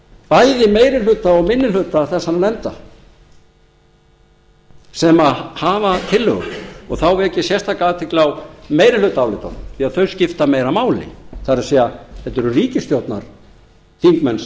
bæði meiri hluta og minni hluta þessara nefnda sem hafa tillögur þá vek ég sérstaka athygli á meirihlutaálitunum því þau skipta meira máli það er þetta eru ríkisstjórnarþingmenn sem